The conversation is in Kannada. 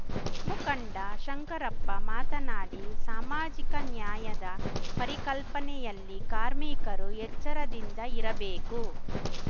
ಮುಖಂಡ ಶಂಕರಪ್ಪ ಮಾತನಾಡಿ ಸಾಮಾಜಿಕ ನ್ಯಾಯದ ಪರಿಕಲ್ಪನೆಯಲ್ಲಿ ಕಾರ್ಮಿಕರು ಎಚ್ಚರದಿಂದ ಇರಬೇಕು